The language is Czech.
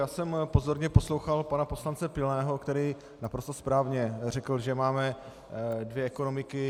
Já jsem pozorně poslouchal pana poslance Pilného, který naprosto správně řekl, že máme dvě ekonomiky.